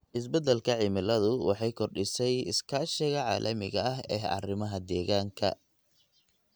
Isbeddelka cimiladu waxay kordhisay iskaashiga caalamiga ah ee arrimaha deegaanka.